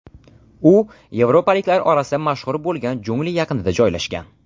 U yevropaliklar orasida mashhur bo‘lgan jungli yaqinida joylashgan.